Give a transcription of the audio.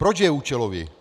Proč je účelový?